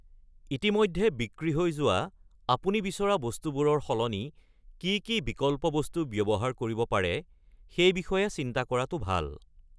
ইতিমধ্যে বিক্ৰী হৈ যোৱা আপুনি বিচৰা বস্তুবোৰৰ সলনি কি কি বিকল্প বস্তু ব্যৱহাৰ কৰিব পাৰে, সেই বিষয়ে চিন্তা কৰাটো ভাল।